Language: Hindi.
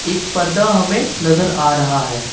एक पर्दा हमें नजर आ रहा है।